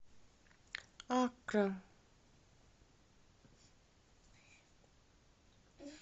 аккра